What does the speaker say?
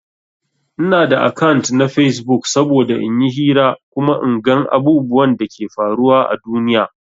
Ina da akant na Facebook saboda in yi hira kuma in gan abubwan Dake faruwa à duniya.